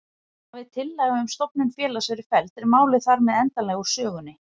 Hafi tillaga um stofnun félags verið felld er málið þar með endanlega úr sögunni.